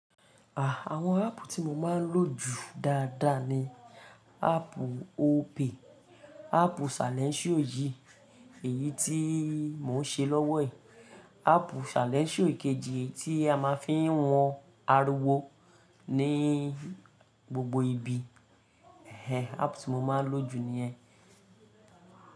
À, àwọn áàpù tí mo máa ń lò jù dáadáa ni áàpù Opay, áàpù salẹńṣío yìí, èyí tí mò ń ṣe lọ́wọ́ ẹ̀, áàpù salẹńṣío ikejì tí a máa ń fi wọn ariwo ní gbogbo ibi. Ehen, áàpù tí mo máa ń lò jù ni ẹ́.